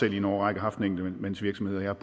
i en årrække haft en enkeltmandsvirksomhed og jeg